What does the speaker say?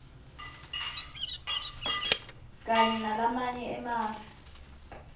kanye nalamanye emave